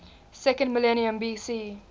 second millennium bc